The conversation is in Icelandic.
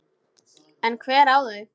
En hver á þau?